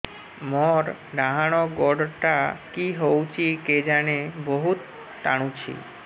ମୋର୍ ଡାହାଣ୍ ଗୋଡ଼ଟା କି ହଉଚି କେଜାଣେ ବହୁତ୍ ଟାଣୁଛି